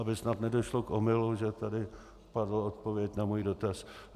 Aby snad nedošlo k omylu, že tady padla odpověď na můj dotaz.